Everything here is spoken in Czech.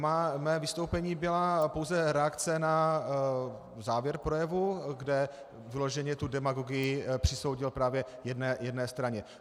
Mé vystoupení byla pouze reakce na závěr projevu, kde vyloženě tu demagogii přisoudil právě jedné straně.